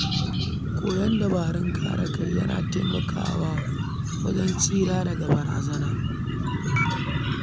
Koyon dabarun kare kai yana taimakawa wajen tsira daga barazana.